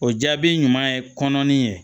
O jaabi ɲuman ye kɔnɔnin ye